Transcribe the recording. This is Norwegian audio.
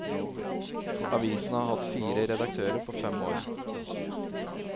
Avisen har hatt fire redaktører på fem år.